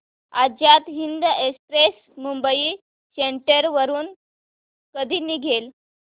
Azad Hind express Mumbai central वरून कधी निघेल